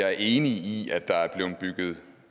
er enig i at det